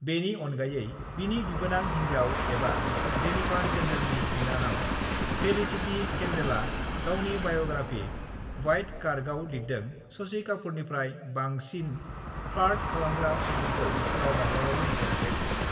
बेनि अनगायै बिनि बिबोनां हिन्जाव एबा जेनिफार केन्डलनि बिनानाव फेलिसिटी केन्डलआ गावनि बाय'ग्राफि 'वाइट कार्ग 'आव लिरदों शशि कापुरनिफ्राय बांसिन फ्लार्ट खालामग्रा सुबुंखौ गाव माब्लाबाबो नुफेराखै।